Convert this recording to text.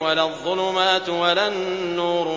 وَلَا الظُّلُمَاتُ وَلَا النُّورُ